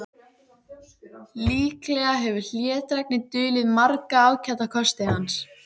Líklega hefur hlédrægni dulið marga ágæta kosti hans.